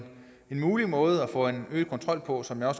mulig måde at få en øget kontrol på som jeg